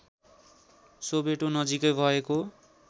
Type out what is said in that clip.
Soweto नजिकै भएको